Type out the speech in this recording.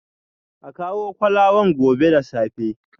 A kawo kolawan gobe da safe